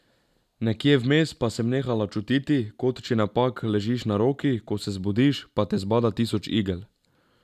Nekje vmes pa sem nehala čutiti, kot če napak ležiš na roki, ko se zbudiš, pa te zbada tisoč igel.